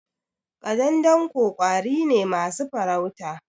Ƙadandanko ƙwari ne masu farauta.